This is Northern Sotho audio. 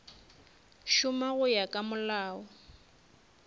šoma go ya ka molao